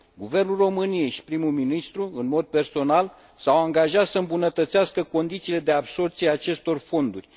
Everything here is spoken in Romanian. Guvernul României și primul ministru în mod personal s au angajat să îmbunătățească condițiile de absorbție a acestor fonduri.